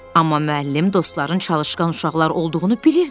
Amma müəllim dostların çalışqan uşaqlar olduğunu bilirdi.